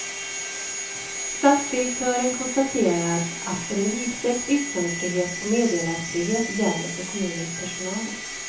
Stadsdirektören konstaterar att en vidsträckt yttrandefrihet och meddelarfrihet gäller för kommunens personal.